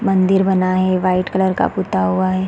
मंदिर बना है वाइट कलर का पुता हुआ हैं।